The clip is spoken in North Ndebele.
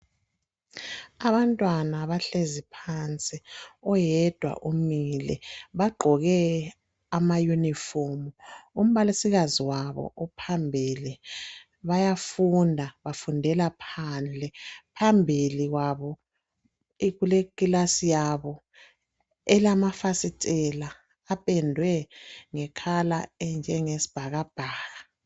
Abantwana bahlezi phansi oyedwa umile, bagqoke amauniform umbalisikazi wabo uphambili. Bayafunda bafundela phandle phambili kwabo kuleclass yabo elamafasitela apendwe ngecolour enjengesbhakabhaka.